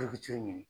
ɲini